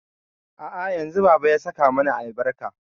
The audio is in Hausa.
A'a yanzun baba ya saka mana albarka.